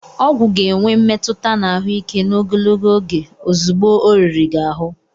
Ọgwụ ga-enwe mmetụta na ahụike n'ogologo oge ozugbo ọ riri gị ahụ